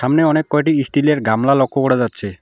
সামনে অনেক কয়টি ইস্টিলের -এর গামলা লক্ষ করা যাচ্ছে।